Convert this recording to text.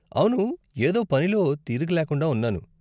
అవును, ఏదో పనిలో తీరిక లేకుండా ఉన్నాను.